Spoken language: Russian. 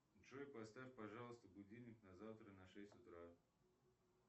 джой поставь пожалуйста будильник на завтра на шесть утра